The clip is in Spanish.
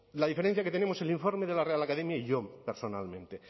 la diferencia que tenemos el informe de la real academia y yo personalmente